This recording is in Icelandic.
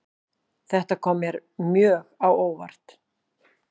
Þetta kom mér mjög á óvart